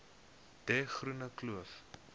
de groene kloof